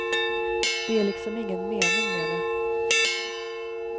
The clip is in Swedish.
Det är liksom ingen mening med det.